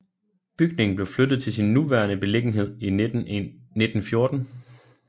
Bygningen blev flyttet til sin nuværende beliggenhed i 1914